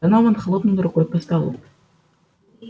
донован хлопнул рукой по столу